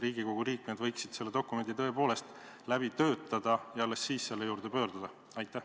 Riigikogu liikmed võiksid selle dokumendi tõepoolest enne läbi töötada ja alles siis selle juurde pöörduda?